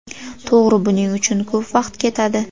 To‘g‘ri, buning uchun ko‘p vaqt ketadi.